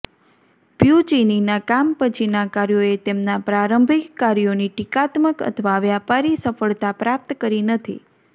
પ્યુચિનીના કામ પછીના કાર્યોએ તેમના પ્રારંભિક કાર્યોની ટીકાત્મક અથવા વ્યાપારી સફળતા પ્રાપ્ત કરી નથી